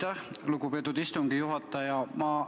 Aitäh, lugupeetud istungi juhataja!